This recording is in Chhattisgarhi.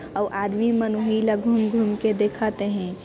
आउ आदमी मन उन्हीं ला घूम-घूम के दिखत हैं।